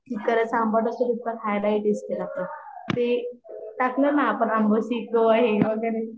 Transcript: जितका रस्सा आंबट असतो तीतका खायला ही टेस्टि असतो ते टाकल ना आपण अंबोशी ते हे वैगेरे नंतर